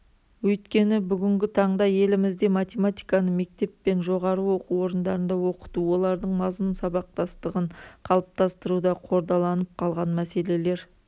өйткені бүгінгі таңда елімізде математиканы мектеп пен жоғары оқу орындарында оқыту олардың мазмұн сабақтастығын қалыптастыруда қордаланып қалған мәселелер